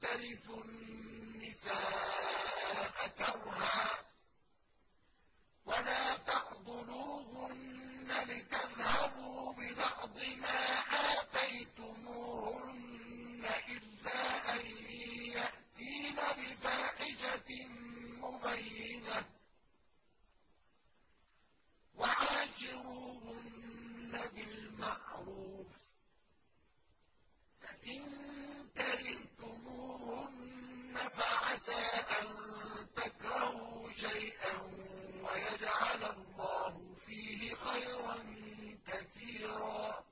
تَرِثُوا النِّسَاءَ كَرْهًا ۖ وَلَا تَعْضُلُوهُنَّ لِتَذْهَبُوا بِبَعْضِ مَا آتَيْتُمُوهُنَّ إِلَّا أَن يَأْتِينَ بِفَاحِشَةٍ مُّبَيِّنَةٍ ۚ وَعَاشِرُوهُنَّ بِالْمَعْرُوفِ ۚ فَإِن كَرِهْتُمُوهُنَّ فَعَسَىٰ أَن تَكْرَهُوا شَيْئًا وَيَجْعَلَ اللَّهُ فِيهِ خَيْرًا كَثِيرًا